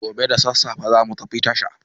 Gobe da sassafe za mu tafi tasha.